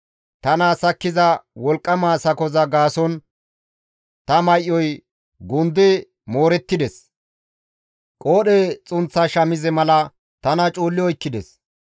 Tana sakkiza wolqqama sakoza gaason ta may7oy gundi moorettides; qoodhe xunththa shamize mala tana cuulli oykkides.